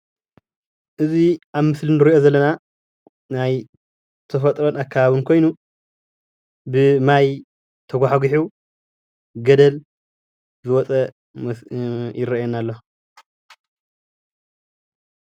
እዚ አብ ምስሊ እንር'ዮ ዘለና ናይ ተፈጥሮን አከባብን ኮይኑ ብማይ ተጋሕጊሑ ገደለል ዝወፀ ይረአየና አሎ።